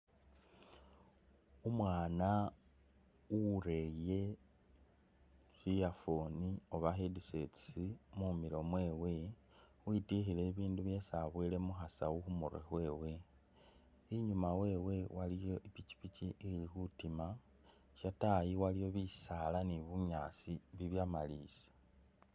Umwana ureye earphone Oba headsets mumilo mwewe , witwikhile ibundu byesi abowele mukhasawu khumurwe , inyuma wewe waliyo ipikyipikyi ili khutima , shatayi waliwo bisala ni bunyaasi bibyamalisa.